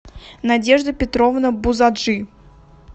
надежда петровна бузаджи